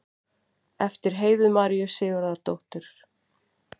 eftir heiðu maríu sigurðardóttur